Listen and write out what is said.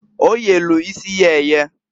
O yelu isi ya eye.